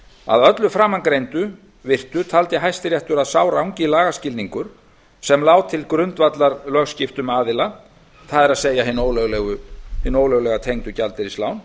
að öllu framangreindu virtu taldi hæstiréttur að sá rangi lagaskilningur sem lá til grundvallar lögskiptum aðila það er hin ólöglega tengdu gjaldeyrislán